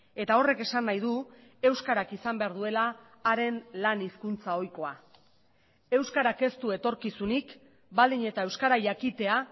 eta horrek esan nahi du euskarak izan behar duela haren lan hizkuntza ohikoa euskarak ez du etorkizunik baldin eta euskara jakitea